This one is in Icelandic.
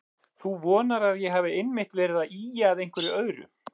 Þú vonar að ég hafi einmitt verið að ýja að einhverju öðru.